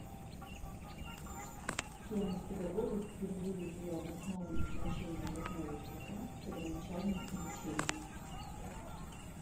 кем из педагогов впервые было обосновано значение родного языка в первоначальном обучении